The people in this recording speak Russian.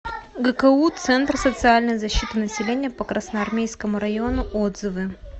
гку центр социальной защиты населения по красноармейскому району отзывы